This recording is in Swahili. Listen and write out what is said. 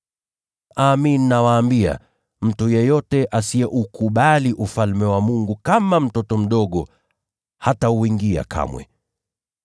Amin, nawaambia, mtu yeyote asiyeupokea Ufalme wa Mungu kama mtoto mdogo, hatauingia kamwe.”